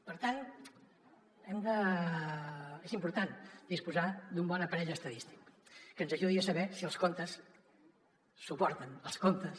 per tant és important disposar d’un bon aparell estadístic que ens ajudi a saber si els contes suporten els comptes